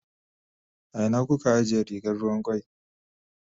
A ina kuka ajiye rigar ruwan kwai?